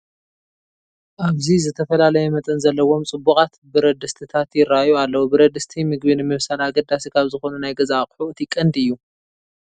ኣብዚ ዝተፈላለየ መጠን ዘለዎም ፅቡቓት ብረድስትታት ይርአዩ ኣለዉ፡፡ ብረድስቲ ምግቢ ንምብሳል ኣገዳሲ ካብ ዝኾኑ ናይ ገዛ ኣቑሑ እቲ ቀንዲ እዩ፡፡